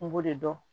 N b'o de dɔn